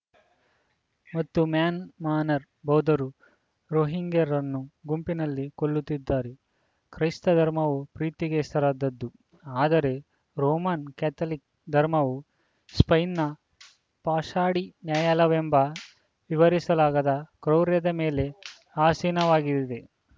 ಮತ್ತು ಮ್ಯಾನ್‌ಮಾರ್ನ್ ಭೌದ್ಧರು ರೋಹಿಂಗ್ಯರನ್ನು ಗುಂಪುಗಳಲ್ಲಿ ಕೊಲ್ಲುತ್ತಿದ್ದಾರೆ ಕ್ರೈಸ್ತಧರ್ಮವು ಪ್ರೀತಿಗೆ ಹೆಸರಾದದ್ದು ಆದರೆ ರೋಮ್‌ನ ಕೆಥೋಲಿಕ್‌ ಧರ್ಮವು ಸ್ಪೇನ್‌ನ ಪಾಷಡಿ ನ್ಯಾಯಾಲಯವೆಂಬ ವಿವರಿಸಲಾಗದ ಕ್ರೌರ್ಯದ ಮೇಲೆ ಆಸೀನವಾಗಿದೆ